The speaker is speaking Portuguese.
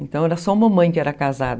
Então, era só uma mãe que era casada.